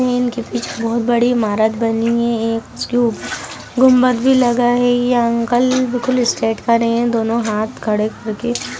इनके पीछे बहुत बड़ी इमारत बनी है एक इसके ऊपर गुम्बद भी लगा है ये अंकल बिल्कुल स्ट्रेट खड़े है दोनों हाथ खड़े कर के।